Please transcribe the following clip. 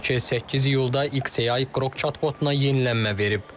Belə ki, 8 iyulda XAI Qrok chatbotuna yenilənmə verib.